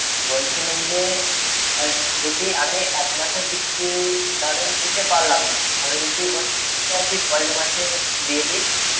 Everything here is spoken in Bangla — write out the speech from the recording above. বলছিলাম যে যদি আমি এক মাসের কিস্তি ধরেন দিতে পারলুম না, আমি যদি ওই কিস্তিটা যদি পরের মাসে দিয়ে দি